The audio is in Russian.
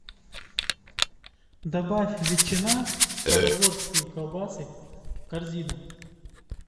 добавь ветчина стародворские колбасы в корзину